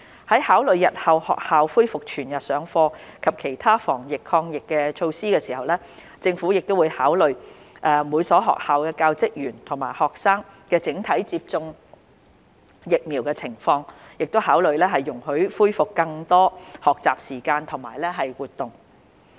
在考慮日後學校恢復全日上課及其他防疫抗疫措施時，政府會考慮每所學校教職員及學生整體接種疫苗的情況，考慮容許恢復更多學習時間及活動。